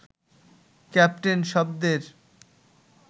captain শব্দের